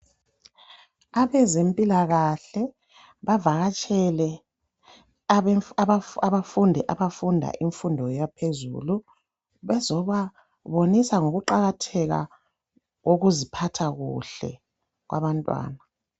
Abezempilakahle bavakatshele abafundi, abafunda imfundo yaphezulu bazobabonisa ngokuqakatheka kokuziphatha kuhle okwabantwana.